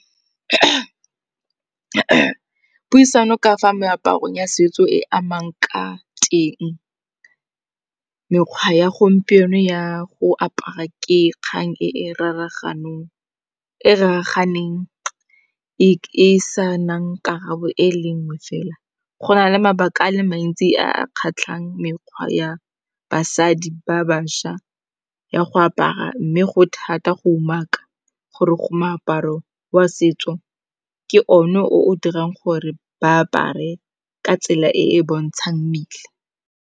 Puisano ka fa meaparong ya setso e amang ka teng, mekgwa ya gompieno ya go apara ke kgang e raraganeng. E sa nang karabo e le nngwe fela, go na le mabaka a le mantsi a kgatlhang mekgwa ya basadi ba bašwa, ya go apara mme go thata go umaka gore go moaparo wa setso ke one o o dirang gore ba apare ka tsela e e bontshang mmele.